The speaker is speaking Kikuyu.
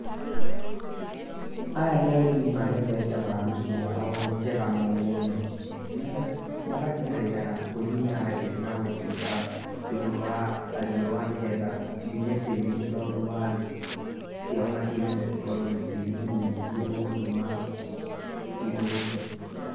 Aya nĩ arĩmi magethete waru ciao njega mũno, magaciarĩra ngũnia thĩ na gũciga igũrũ wa riũa nĩ getha ciume tĩri tondũ waru ciao matirenda cikorwo na tĩri mũingĩ ũgũtũma cithũke.